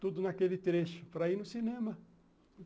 Tudo naquele trecho, para ir no cinema.